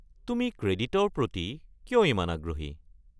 তুমি ক্ৰেডিটৰ প্ৰতি কিয় ইমান আগ্ৰহী?